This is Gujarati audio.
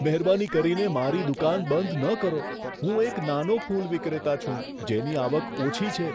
મહેરબાની કરીને મારી દુકાન બંધ ન કરો. હું એક નાનો ફૂલ વિક્રેતા છું, જેની આવક ઓછી છે.